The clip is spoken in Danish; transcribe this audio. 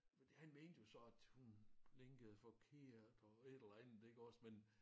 Han mente jo så at hun blinkede forkert og et eller andet iggås men